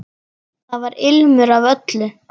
Þar var ilmur af öllu.